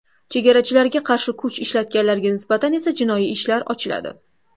Chegarachilarga qarshi kuch ishlatganlarga nisbatan esa jinoiy ishlar ochiladi.